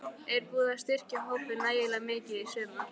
Er búið að styrkja hópinn nægilega mikið í sumar?